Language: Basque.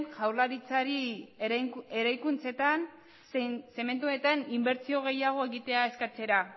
jaurlaritzari eraikuntzetan zein zementuetan inbertsio gehiago egitea eskatzera